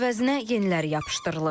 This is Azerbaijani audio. əvəzinə yeniləri yapışdırılır.